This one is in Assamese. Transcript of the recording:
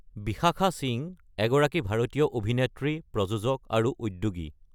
বিশাখা সিং এগৰাকী ভাৰতীয় অভিনেত্ৰী, প্ৰযোজক আৰু উদ্যোগী।